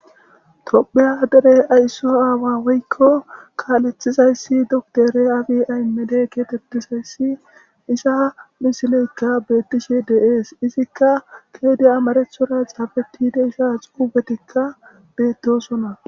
tophiya derey ayso aawa woykko kaalethizayssi doktore afi aymede keetettizayssi isa misileykka beettishe deees izikka keedi amarethora xaafetide isa xuuubetikka beettosona